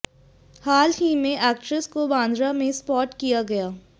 हाल ही में एक्ट्रेस को बांद्रा में स्पॉट किया गया है